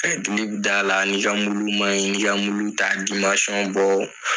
d'a la ni ka man ɲi i ka ta i ka bɔ.